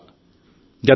ఆమె సెంచరీ దాటింది